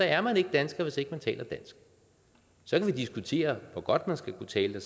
er man ikke dansker hvis ikke man taler dansk så kan vi diskutere hvor godt man skal kunne tale